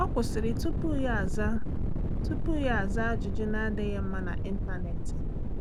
Ọ́ kwụ́sị̀rị̀ tupu yá ázá tupu yá ázá ájụ́jụ́ nà-ádị́ghị́ mma n’ị́ntánétị̀.